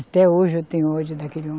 Até hoje eu tenho ódio daquele homem.